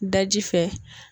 Daji fɛ.